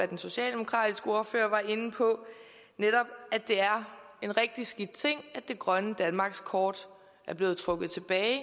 den socialdemokratiske ordfører var inde på netop at det er en rigtig skidt ting at det grønne danmarkskort er blevet trukket tilbage